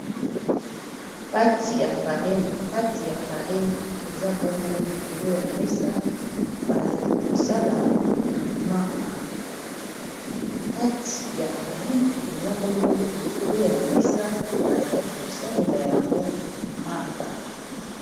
pati ya farine ezabongo likolo ya mesa bazali kosalela yango mappa